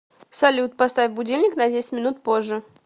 салют поставь будильник на десять минут позже